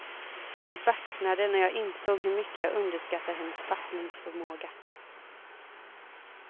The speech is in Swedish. Jag baxnade när jag insåg hur mycket jag underskattar hennes fattningsförmåga.